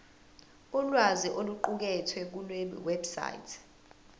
ulwazi oluqukethwe kulewebsite